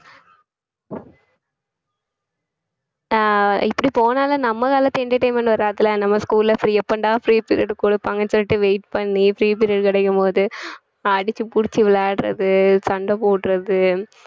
ஆஹ் இப்படி போனாலும் நம்ம காலத்து entertainment வராதுல்ல நம்ம school ல free எப்பன்டா free period குடுப்பாங்கன்னு சொல்லிட்டு wait பண்ணி free period கிடைக்கும் போது அடிச்சு புடிச்சு விளையாடுறது சண்டை போடுறது